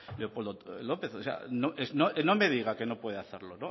leopoldo lópez o sea no me diga que no puede hacerlo